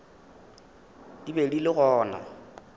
di be di le gona